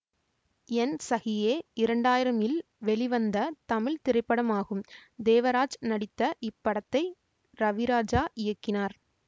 என் சகியே இரண்டு ஆயிரம்இல் வெளிவந்த தமிழ் திரைப்படமாகும் தேவராஜ் நடித்த இப்படத்தை ரவிராஜா இயக்கினார்